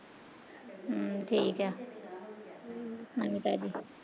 ਹਮ ਠੀਕ ਆ, ਨਮੀ ਤਾਜੀ